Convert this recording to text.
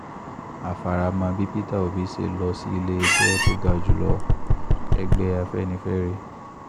a fara mọ́ bí peter obi ṣe lọ sí ilé-ẹjọ́ tó ga jù lọ-ẹgbẹ́ afẹ́nifẹ́re